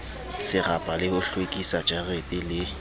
serapa le ho hlwekisajarete le